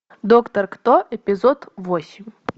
доктор кто эпизод восемь